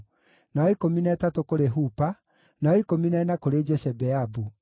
na wa ikũmi na ĩtatũ kũrĩ Hupa, na wa ikũmi na ĩna kũrĩ Jeshebeabu,